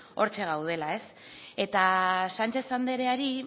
hortxe gaudela ez eta sánchez andreari